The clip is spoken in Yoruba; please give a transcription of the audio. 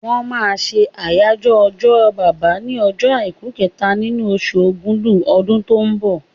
Wọ́n máa ṣe àyájọ́ ọjọ́ bàbá ní ọjọ́ àìkú kẹta nínú osù ògudù ọdún tó ń bọ̀